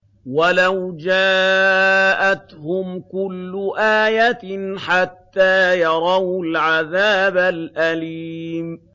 وَلَوْ جَاءَتْهُمْ كُلُّ آيَةٍ حَتَّىٰ يَرَوُا الْعَذَابَ الْأَلِيمَ